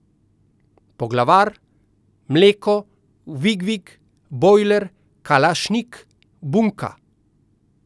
Poglavar, Mleko, Vig Vig, Bojler, Kalašnik, Bunka ...